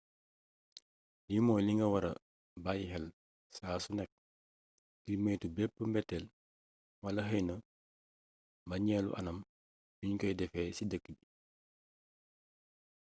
lii mooy li nga wara bayyi xel saa su nekk ngir moytu bépp mbeteel wala xeyna mbañeelu anam yuñ koy defee ci dëkk bi